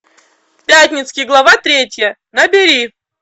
пятницкий глава третья набери